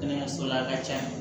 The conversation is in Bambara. Kɛnɛyaso la ka caya